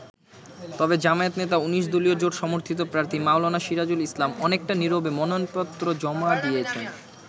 তবে জামায়াত নেতা ১৯ দলীয় জোট সমর্থিত প্রার্থী মাওলানা সিরাজুল ইসলাম অনেকটা নিরবে মনোনয়নপত্র জমা দিয়েছেন।